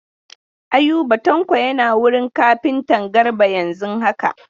Ayuba Tanko yana wurin kafintan Garba yanzun haka.